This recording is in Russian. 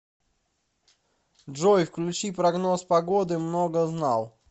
джой включи прогноз погоды многознал